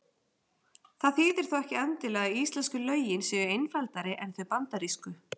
Það þýðir þó ekki endilega að íslensku lögin séu einfaldari en þau bandarísku.